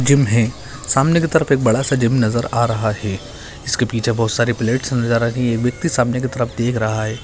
Gym है सामने की तरफ एक बड़ा सा जिम नजर आ रहा है। इसके पीछे बहुत सारे प्लेट्स नजर आ रही है | एक व्यक्ति सामने की तरफ देख रहा है |